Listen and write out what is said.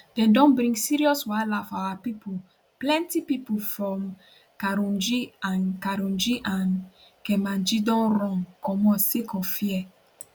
dem don bring serious wahala for our pipo plenty pipo from karunji and karunji and kermanji don run comot sake of fear